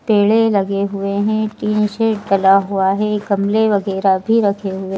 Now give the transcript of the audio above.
पेड़े लगे हुए हैं पीस जला हुआ है गमले वगैरह भी रखे हुए--